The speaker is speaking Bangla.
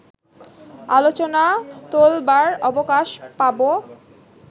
আলোচনা তোলবার অবকাশ পাবো